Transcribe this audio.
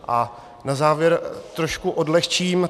A na závěr trošku odlehčím.